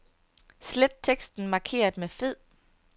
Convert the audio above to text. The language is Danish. Slet teksten markeret med fed.